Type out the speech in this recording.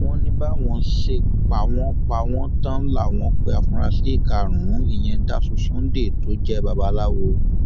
wọn ní báwọn ṣe pa wọn pa wọn tán láwọn pé àfúrásì karùnún ìyẹn dásù sunday tó jẹ babaláwo